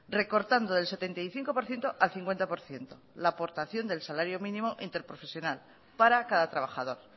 recortando del setenta y cinco por ciento al cincuenta por ciento la aportación del salario mínimo interprofesional para cada trabajador